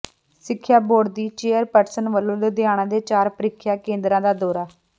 ਸਿੱਖਿਆ ਬੋਰਡ ਦੀ ਚੇਅਰਪਰਸਨ ਵੱਲੋਂ ਲੁਧਿਆਣਾ ਦੇ ਚਾਰ ਪ੍ਰੀਖਿਆ ਕੇਂਦਰਾਂ ਦਾ ਦੌਰਾ